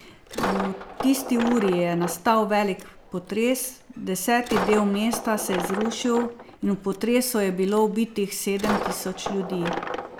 V tisti uri je nastal velik potres, deseti del mesta se je zrušil in v potresu je bilo ubitih sedem tisoč ljudi.